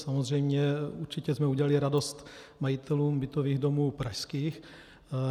Samozřejmě, určitě jsme udělali radost majitelům bytových domů pražských.